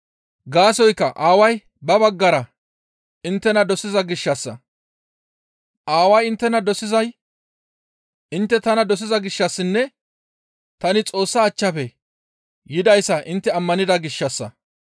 Gaasoykka Aaway ba baggara inttena dosiza gishshassa; Aaway inttena dosizay intte tana dosiza gishshassinne tani Xoossa achchafe yidayssa intte ammanida gishshassa.